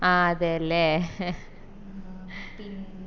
ആഹ് അതെയല്ലേ